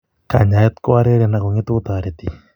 Kanyaayet ko areeren ak ngetu ko toreti.